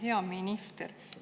Hea minister!